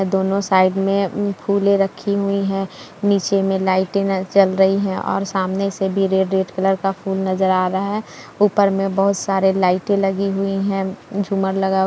दोनों साइड मे उम्म फुले रखी हुई है नीचे मे लाइटें जल रही है सामने से भी रेड रेड कलर का फुल नजर आ रहा है ऊपर मे बहुत सारे लाइटें लगी हुई है झूमर लगा --